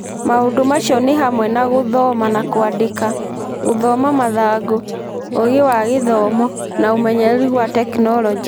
Maũndũ macio nĩ hamwe na gũthoma na kwandĩka, gũthoma mathangũ, ũgĩ wa gĩthomo, na ũmenyeru wa tekinoronjĩ.